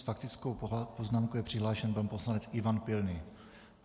S faktickou poznámkou je přihlášen pan poslanec Ivan Pilný.